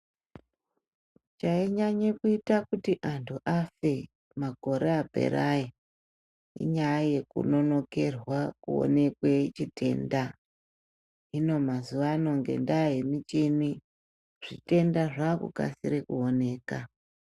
Chainyanya kuita kuti antu afe makore apera ayo inyaya ye kunonokerwa kuonekwa chitenda. Hino mazuwa anaya ngendaa yemichini zvitenda zvakukasikira kuoneka.